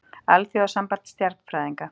Alþjóðasamband stjarnfræðinga.